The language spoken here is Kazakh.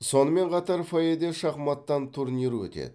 сонымен қатар фойеде шахматтан турнир өтеді